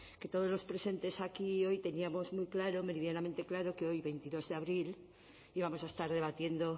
que todos los presentes aquí hoy teníamos muy claro meridianamente claro que hoy veintidós de abril íbamos a estar debatiendo